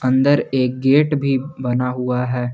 अंदर एक गेट भी बना हुआ है।